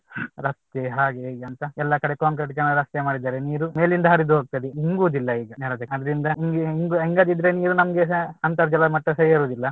ರಸ್ತೆ ಹಾಗೆ ಹೀಗೆ ಅಂತ ಎಲ್ಲಾ ಕಡೆ ಕಾಂಕ್ರೆಟೀಕರಣ ರಸ್ತೆ ಮಾಡಿದ್ದಾರೆ ನೀರು ಮೇಲಿಂದ ಹರಿದು ಹೋಗ್ತದೆ ಇಂಗುದಿಲ್ಲ ಈಗ ನೆಲದಲ್ಲಿ ಅದ್ರಿಂದ ಇಂಗು ಇಂಗದಿದ್ರೆ ನೀರು ನಮ್ಗೆಸ ಅಂತರ್ಜಲ ಮಟ್ಟಸ ಏರುದಿಲ್ಲ ಹಾಗೆ